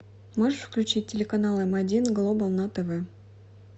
можешь включить телеканал м один глобал на тв